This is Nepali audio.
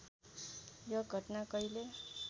यो घटना कहिले